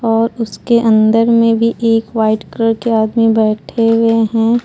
और उसके अंदर में भी एक व्हाइट कलर के आदमी बैठे हुए हैं.